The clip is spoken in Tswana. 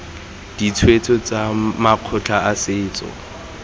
ditshwetso tsa makgotla a setso